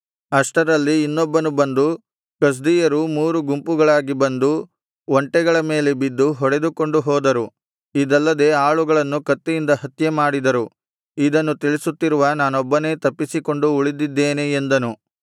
ಅಷ್ಟರಲ್ಲಿ ಇನ್ನೊಬ್ಬನು ಬಂದು ಕಸ್ದೀಯರು ಮೂರು ಗುಂಪುಗಳಾಗಿ ಬಂದು ಒಂಟೆಗಳ ಮೇಲೆ ಬಿದ್ದು ಹೊಡೆದುಕೊಂಡು ಹೋದರು ಇದಲ್ಲದೆ ಆಳುಗಳನ್ನು ಕತ್ತಿಯಿಂದ ಹತ್ಯೆ ಮಾಡಿದರು ಇದನ್ನು ತಿಳಿಸುತ್ತಿರುವ ನಾನೊಬ್ಬನೇ ತಪ್ಪಿಸಿಕೊಂಡು ಉಳಿದಿದ್ದೇನೆ ಎಂದನು